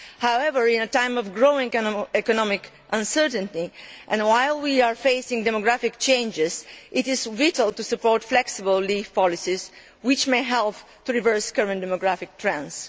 However, in a time of growing economic uncertainty and while we are facing demographic changes, it is vital to support flexible leave policies, which may help to reverse current demographic trends.